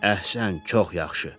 Əhsən, çox yaxşı.